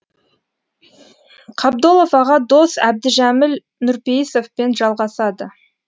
қабдолов аға дос әбдіжәміл нұрпейісовпен жалғасады